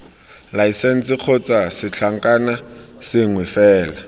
laesense kgotsa setlankna sengwe fela